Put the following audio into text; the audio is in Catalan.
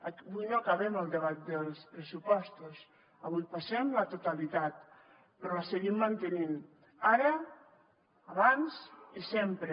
avui no acabem el debat dels pressupostos avui passem la totalitat però la seguim mantenint ara abans i sempre